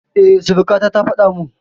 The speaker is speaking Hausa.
E, surukata ta faɗa min.